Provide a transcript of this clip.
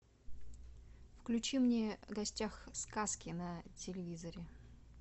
включи мне в гостях у сказки на телевизоре